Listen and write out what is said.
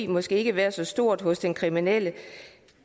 måske ikke være så stort hos den kriminelle